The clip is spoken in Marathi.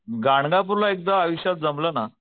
गाणगापूर ला एकदा आयुष्यात जमल ना